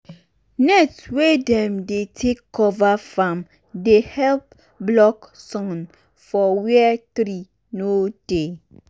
net wey dem dey take cover farm dey help block sun for where tree no dey.